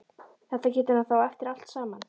Þetta getur hann þá eftir allt saman!